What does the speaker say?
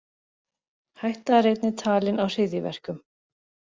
Hætta er einnig talin á hryðjuverkum